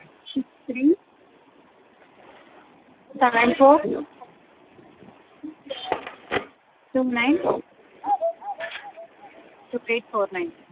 Six three seven four two nine two eight four nine